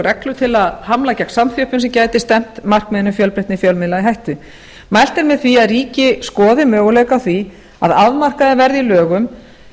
reglur til að hamla gegn samþjöppun sem gæti stefnt markmiðinu um fjölbreytni í fjölmiðlun í hættu mælt er með því að ríki skoði möguleika á því að afmarkaðir verði í lögum